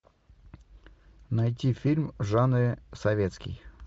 найти фильм в жанре советский